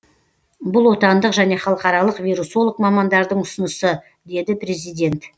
бұл отандық және халықаралық вирусолог мамандардың ұсынысы деді президент